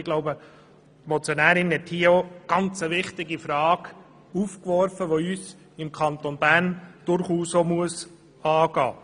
Ich glaube, die Motionärin hat hier eine ganz wichtige Frage aufgeworfen, die uns im Kanton Bern durchaus auch angehen muss.